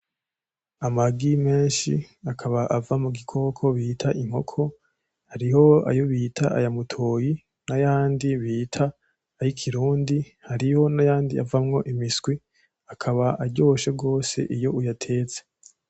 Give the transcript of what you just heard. Amagi menshi akaba ava mugikoko bita inkoko hariho ayo bita ayamutoyi nayandi bita ayikirundi hariho nayandi avamwo imiswi akaba aryoshe gose iyo uyatetse .